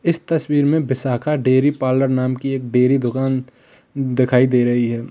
इस तस्वीर में विशाखा डेयरी पार्लर नाम की एक डेयरी दुकान दिखाई दे रही है।